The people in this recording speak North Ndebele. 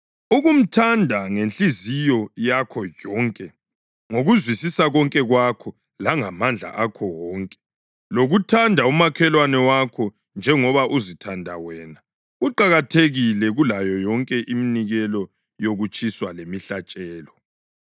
Ukumthanda ngenhliziyo yakho yonke, ngokuzwisisa konke kwakho langamandla akho wonke, lokuthanda umakhelwane wakho njengoba uzithanda wena kuqakathekile kulayo yonke iminikelo yokutshiswa lemihlatshelo.”